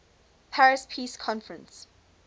paris peace conference